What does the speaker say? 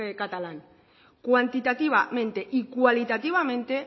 catalán cuantitativamente y cualitativamente